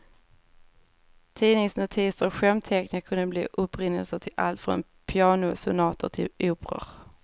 Tidningsnotiser och skämtteckningar kunde bli upprinnelsen till allt från pianosonater till operor.